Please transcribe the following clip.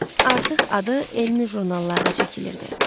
Artıq adı elmi jurnallarda çəkilirdi.